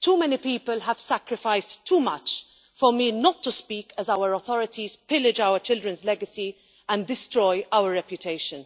Too many people have sacrificed too much for me not to speak as our authorities pillage our children's legacy and destroy our reputation.